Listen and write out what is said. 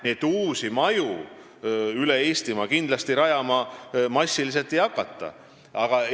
Nii et uusi maju üle Eestimaa kindlasti massiliselt rajama ei hakata.